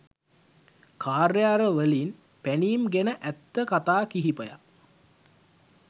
කාර්යාල වලින් පැනීම් ගැන ඇත්ත කතා කිහිපයක්